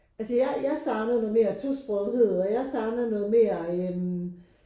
Altså jeg jeg savnede noget mere tosprogethed og jeg savnede noget mere